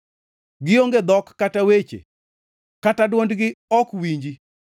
Gionge dhok kata weche kata dwondgi ok winji.